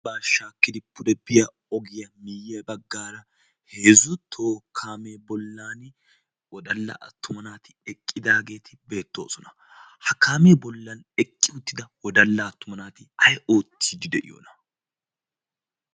ambbaa shaakkidi pude biyaa ogiyaa miye baggaara heezzu toho kaamee bollan wodaala attuma naati eqqidaageti beetoosona. ha kaamee bollaan eqqi uttida wodalla attuma naati ay oottidi diyoonaa?